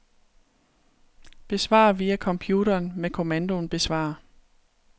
Besvar via computeren med kommandoen besvar.